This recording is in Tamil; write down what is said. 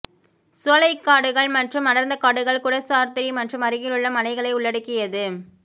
சோலைக்காடுகள் மற்றும் அடர்ந்த காடுகள் குடசாத்ரி மற்றும் அருகிலுள்ள மலைகளை உள்ளடக்கியது